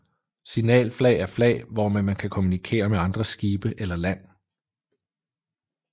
Signalflag er flag hvormed man kan kommunikere med andre skibe eller land